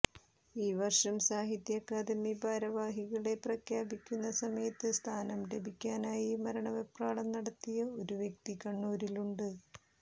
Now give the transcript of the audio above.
ഈ വര്ഷം സാഹിത്യ അക്കാദമി ഭാരവാഹികളെ പ്രഖ്യാപിക്കുന്ന സമയത്ത് സ്ഥാനം ലഭിക്കാനായി മരണവെപ്രാളം നടത്തിയ ഒരു വ്യക്തി കണ്ണൂരിലുണ്ട്